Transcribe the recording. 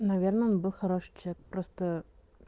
наверное он был хороший человек просто